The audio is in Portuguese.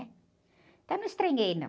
Então, eu não me estranhei, não.